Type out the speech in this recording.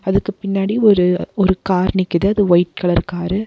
அதுக்கு பின்னாடி ஒரு ஒரு கார் நிக்குது அது ஒயிட் கலர் காரு .